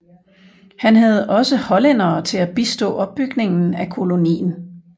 Han havde også hollændere til at bistå opbygningen af kolonien